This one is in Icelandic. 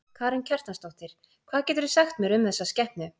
Karen Kjartansdóttir: Hvað geturðu sagt mér um þessa skepnu?